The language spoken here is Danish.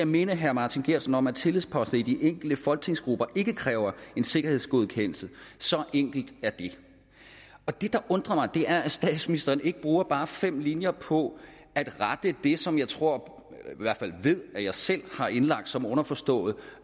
minde herre martin geertsen om at tillidsposter i de enkelte folketingsgrupper ikke kræver en sikkerhedsgodkendelse så enkelt er det det der undrer mig er at statsministeren ikke bruger bare fem linjer på at rette det som jeg tror eller ved at jeg selv har indlagt som underforstået